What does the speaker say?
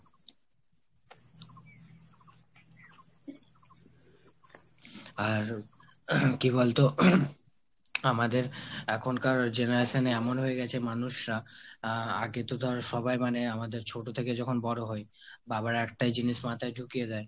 আর কি বলতো আমাদের এখনকার generation এ এমন হয়ে গেছে মানুষরা আহ আগে তো ধর সবাই মানে আমাদের ছোট যখন বড়ো হই বাবারা একটাই জিনিস মাথায় ঢুকিয়ে দেয়,